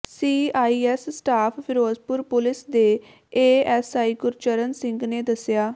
CIA staff Ferozepur police ਦੇ ASI Gurcharan Singh ਨੇ ਦੱਸਿਆ